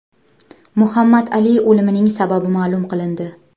Muhammad Ali o‘limining sababi ma’lum qilindi.